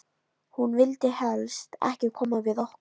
Hún vildi helst ekki koma við okkur.